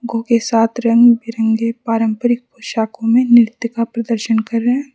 को के साथ रंग बिरंगे पारंपरिक पोशाकों में नृत्य का प्रदर्शन कर रहे हैं।